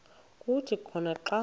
kuthi khona xa